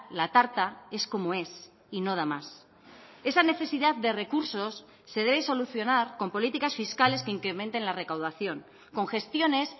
la tarta es como es y no da más esa necesidad de recursos se deben solucionar con políticas fiscales que incrementen la recaudación con gestiones